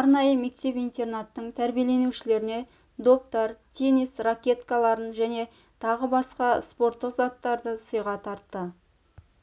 арнайы мектеп-интернаттың тәрбиеленушілеріне доптар теннис ракеткаларын және тағы басқа спорттық заттарды сыйға тартты